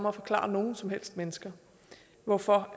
at forklare nogen som helst mennesker hvorfor